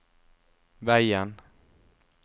veien